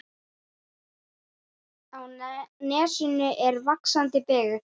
Á nesinu er vaxandi byggð.